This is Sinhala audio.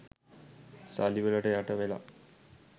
සල්ලි වලට යට වෙලා.